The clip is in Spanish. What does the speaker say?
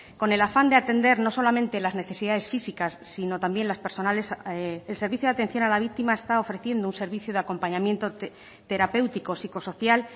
con el afán de atender no solamente las necesidades físicas sino también las personales el servicio de atención a la víctima está ofreciendo un servicio de acompañamiento terapéutico psicosocial